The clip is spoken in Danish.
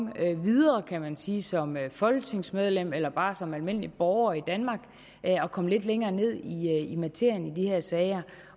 videre kan man sige som folketingsmedlem eller bare som almindelig borger i danmark og komme lidt længere ned i materien i de her sager